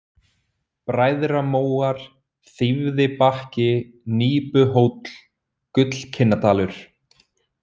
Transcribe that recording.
Bræðramóar, Þýfðibakki, Nípuhóll, Gullkinnadalur